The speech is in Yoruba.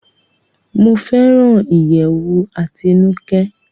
Mo fẹràn iyẹwù Atinuke